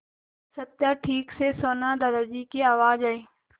सत्या ठीक से सोना दादाजी की आवाज़ आई